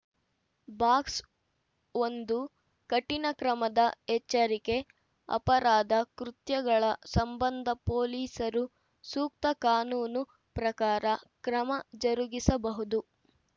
box ಒಂದು ಕಠಿಣ ಕ್ರಮದ ಎಚ್ಚರಿಕೆ ಅಪರಾಧ ಕೃತ್ಯಗಳ ಸಂಬಂಧ ಪೊಲೀಸರು ಸೂಕ್ತ ಕಾನೂನು ಪ್ರಕಾರ ಕ್ರಮ ಜರುಗಿಸಬಹುದು